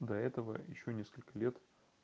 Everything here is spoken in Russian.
до этого ещё несколько лет